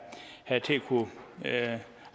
kunnet